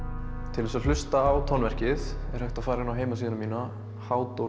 til þess að hlusta á tónverkið er hægt að fara inn á heimasíðuna mína